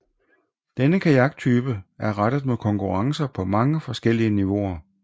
Denne kajaktype er rettet mod konkurrencer på mange forskellige niveauer